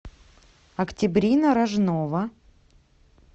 октябрина рожнова